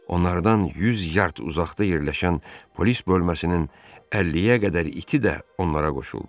Onlardan yüz yard uzaqda yerləşən polis bölməsinin 50-yə qədər iti də onlara qoşuldu.